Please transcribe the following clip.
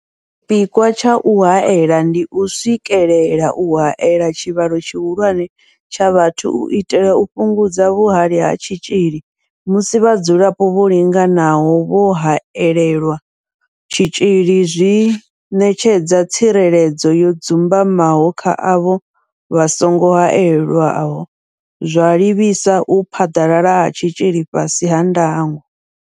Tshipikwa tsha u haela ndi u swikelela u haela tshivhalo tshihulwane tsha vhathu u itela u fhungudza vhuhali ha tshitzhili musi vhadzulapo vho linganaho vho haelelwa tshitzhili zwi ṋetshedza tsireledzo yo dzumbamaho kha avho vha songo haelwaho, zwa livhisa u phaḓalala ha tshitzhili fhasi ha ndango.